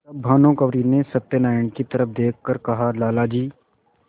तब भानुकुँवरि ने सत्यनारायण की तरफ देख कर कहालाला जी